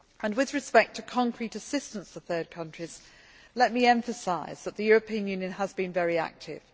With respect to concrete assistance to third countries, let me emphasise that the European Union has been very active.